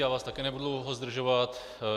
Já vás také nebudu dlouho zdržovat.